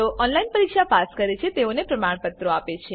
જેઓ ઓનલાઈન પરીક્ષા પાસ કરે છે તેઓને પ્રમાણપત્રો આપે છે